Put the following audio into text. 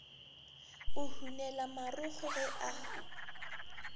go hunela marokgo ge a